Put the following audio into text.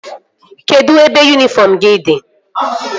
Kedụ ebe yunifọm gị dị?